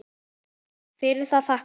Fyrir það þakka ég.